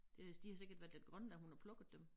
Det de har sikkert været lidt grønne da hun har plukket dem